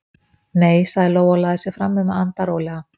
Nei, sagði Lóa og lagði sig fram um að anda rólega.